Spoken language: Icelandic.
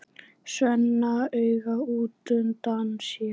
Svenna auga útundan sér.